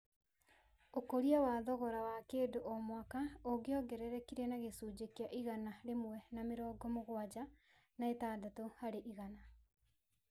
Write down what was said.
Ũkũria wa thogora wa kĩndũ o mwaka ũngĩongererekire na gĩcunjĩ kĩa igana rĩmwe na mĩrongo mũgwanja na ĩtandatũ harĩ igana.